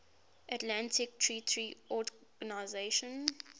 atlantic treaty organisation